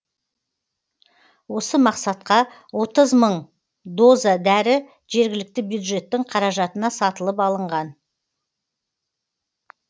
осы мақсатқа отыз мың доза дәрі жергілікті бюджеттің қаражатына сатылып алынған